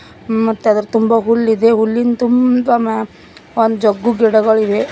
ಮತ್ತ್ ಅದರ ತುಂಬ ಹುಲ್ಲು ಇದೆ ಹುಲ್ಲಿನ್ ತುಂಬ ಮತ್ತ್ ಒಂದ ಜಗ್ಗು ಗಿಡಗಳಿವೆ.